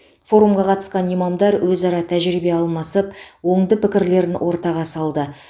форумға қатысқан имамдар өзара тәжірибе алмасып оңды пікірлерін ортаға салды